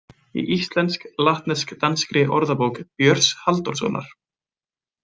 Í íslensk-latnesk-danskri orðabók Björns Halldórssonar.